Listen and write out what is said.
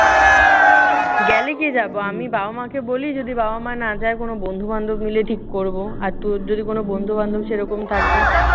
গেলে কে যাব? আমি বাবা-মাকে বলি। যদি বাবা-মা না যায় কোনো বন্ধু-বান্ধব মিলে ঠিক করব। আর তোর যদি কোনো বন্ধু-বান্ধব সেই রকম থাকে।